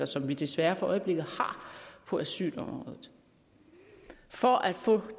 som vi desværre for øjeblikket har på asylområdet for at få